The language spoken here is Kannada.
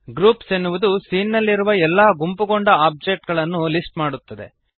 ಗ್ರೂಪ್ಸ್ ಎನ್ನುವುದು ಸೀನ್ ನಲ್ಲಿರುವ ಎಲ್ಲ ಗುಂಪುಗೊಂಡ ಆಬ್ಜೆಕ್ಟ್ ಗಳನ್ನು ಲಿಸ್ಟ್ ಮಾಡುತ್ತದೆ